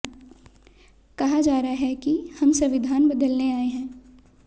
कहा जा रहा है कि हम संविधान बदलने आए हैं